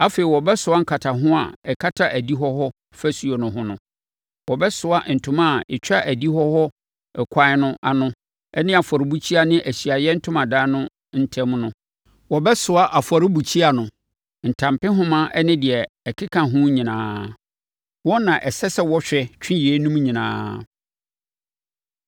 Afei, wɔbɛsoa nkataho a ɛkata adihɔ hɔ ɔfasuo no ho no. Wɔbɛsoa ntoma a ɛtwa adihɔ hɔ ɛkwan no ano ne afɔrebukyia ne Ahyiaeɛ Ntomadan no ntam no. Wɔbɛsoa afɔrebukyia no, ntampehoma ne deɛ ɛkeka ho nyinaa. Wɔn na ɛsɛ sɛ wɔhwɛ, twe yeinom nyinaa.